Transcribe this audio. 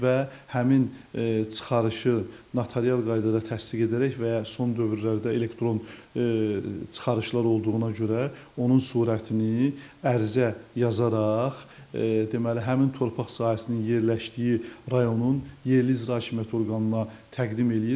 Və həmin çıxarışı notarial qaydada təsdiq edərək və ya son dövrlərdə elektron çıxarışlar olduğuna görə onun surətini ərizə yazaraq deməli həmin torpaq sahəsinin yerləşdiyi rayonun yerli icra hakimiyyəti orqanına təqdim edir.